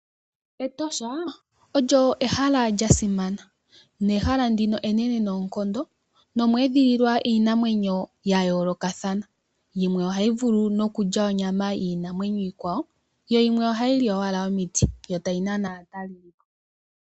Etosha olyo ehala lyasimana ehala ndino enene noonkondo nomweedhililwa iinamwenyo yayoolokathana yimwe ohayi vulu okulya onyama yiinamwenyo iikwawo, yimwe ohayi li omiti yotayi nana aatalelelipo.